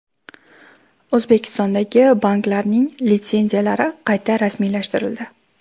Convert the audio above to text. O‘zbekistondagi banklarning litsenziyalari qayta rasmiylashtirildi.